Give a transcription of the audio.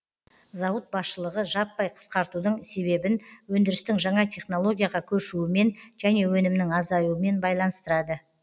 зауыт басшылығы жаппай қысқартудың себебін өндірістің жаңа технологияға көшуімен және өнімнің азаюымен байланыстырады